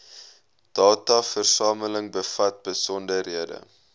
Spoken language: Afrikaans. dataversameling bevat besonderhede